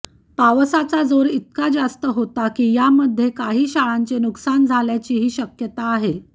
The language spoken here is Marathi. पावसाचा जोर इतका जास्त होता की यामध्ये काही शाळांचे नुकसान झाल्याचीही शक्यता आहे